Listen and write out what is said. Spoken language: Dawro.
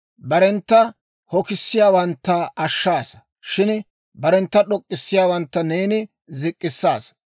Barentta hokisiyaawantta ashshaasa; shin barentta d'ok'k'issiyaawantta neeni zik'k'issaasa.